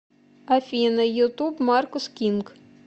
афина ютуб маркус кинг